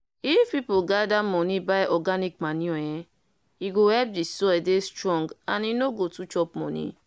if people gather money buy organic manure eeh e go help di soil dey strong and e no go too chop money.